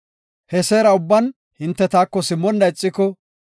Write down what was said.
He seera ubban hinte taako simmonna ixiko,